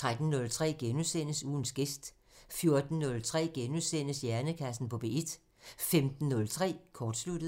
13:03: Ugens gæst * 14:03: Hjernekassen på P1 * 15:03: Kortsluttet